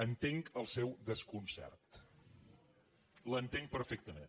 entenc el seu desconcert l’entenc perfectament